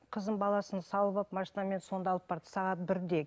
қызым баласын салып алып машинамен сонда алып барды сағат бірде